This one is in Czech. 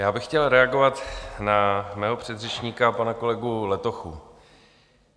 Já bych chtěl reagovat na svého předřečníka, pana kolegu Letochu.